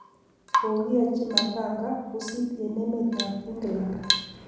kokiyachi matanga pusit eng emet ab England